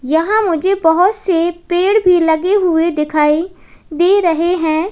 यहां मुझे बहोत से पेड़ भी लगे हुए दिखाई दे रहे हैं।